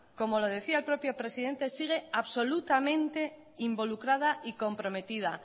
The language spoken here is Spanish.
como lo decía el propio presidente sigue absolutamente involucrada y comprometida